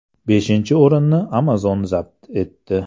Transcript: Beshinchi o‘rinni Amazon zabt etdi.